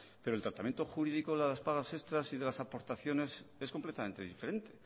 pero el tratamiento jurídico de las pagas extras y de las aportaciones es completamente diferente